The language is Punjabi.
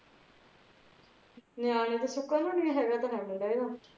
ਨੇਆਣੇ ਦਾ ਸੁਖ ਕਨੂ ਨਹੀਂ ਹੈਗਾ ਹੈਗਾ ਤੇ ਹੈਗਾ ਇਹਦਾ